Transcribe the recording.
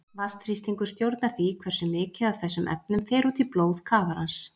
Vatnsþrýstingur stjórnar því hversu mikið af þessum efnum fer út í blóð kafarans.